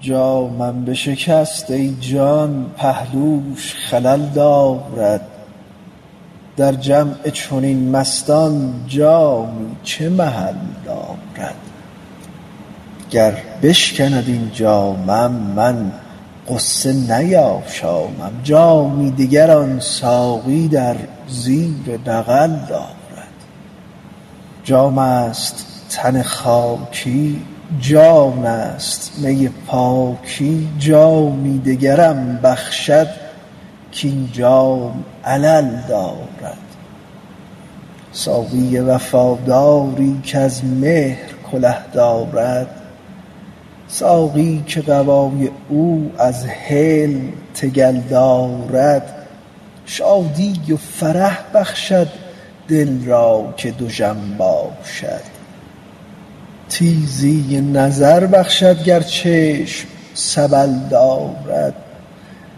جامم بشکست ای جان پهلوش خلل دارد در جمع چنین مستان جامی چه محل دارد گر بشکند این جامم من غصه نیاشامم جامی دگر آن ساقی در زیر بغل دارد جامست تن خاکی جانست می پاکی جامی دگرم بخشد کاین جام علل دارد ساقی وفاداری کز مهر کله دارد ساقی که قبای او از حلم تگل دارد شادی و فرح بخشد دل را که دژم باشد تیزی نظر بخشد گر چشم سبل دارد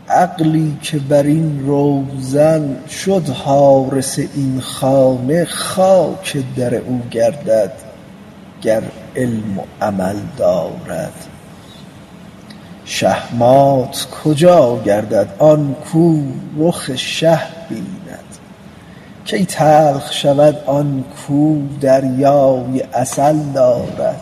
عقلی که بر این روزن شد حارس این خانه خاک در او گردد گر علم و عمل دارد شهمات کجا گردد آن کو رخ شه بیند کی تلخ شود آن کو دریای عسل دارد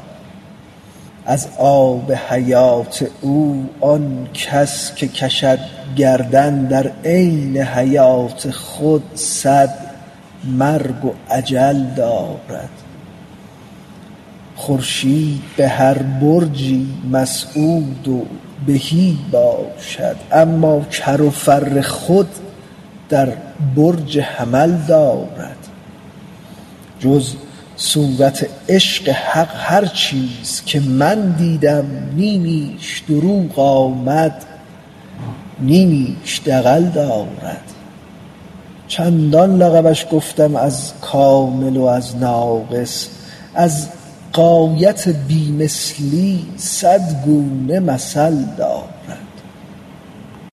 از آب حیات او آن کس که کشد گردن در عین حیات خود صد مرگ و اجل دارد خورشید به هر برجی مسعود و بهی باشد اما کر و فر خود در برج حمل دارد جز صورت عشق حق هر چیز که من دیدم نیمیش دروغ آمد نیمیش دغل دارد چندان لقبش گفتم از کامل و از ناقص از غایت بی مثلی صد گونه مثل دارد